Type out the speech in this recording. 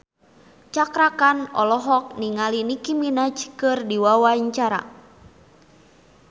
Cakra Khan olohok ningali Nicky Minaj keur diwawancara